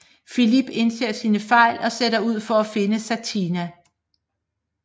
Filip indser sin fejl og sætter ud for at finde Satina